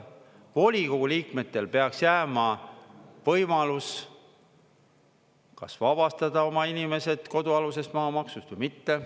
Volikogu liikmetel peaks jääma võimalus kas vabastada oma inimesed kodualusest maamaksust või mitte.